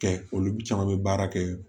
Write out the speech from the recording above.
Kɛ olu caman bɛ baara kɛ